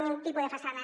ni un tipus de façana